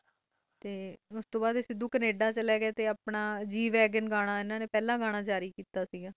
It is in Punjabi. ਉਸਤੋਂ ਬਾਦ ਹੈ ਕੈਨੇਡਾ ਚਲੇ ਗੇ ਸੇ ਉਤੇ ਜਾ ਕਈ ਇਹ ਨੇ ਆਪਣਾ ਪਹਿਲਾ ਗਾਣਾ ਗ -ਵਾਗਾਂ ਰੇਲੀਸੇ ਕੀਤਾ ਸੀ